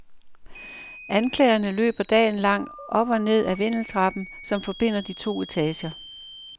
Anklagerne løber dagen lang op og ned af vindeltrappen, som forbinder de to etager.